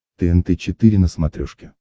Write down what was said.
тнт четыре на смотрешке